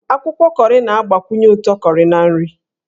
Akwụkwọ kọrị na-agbakwunye ụtọ kọrị na nri.